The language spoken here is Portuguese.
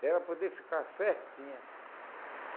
Para ela poder ficar certinha.